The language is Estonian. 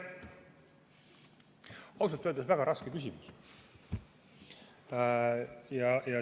Ausalt öeldes on see väga raske küsimus.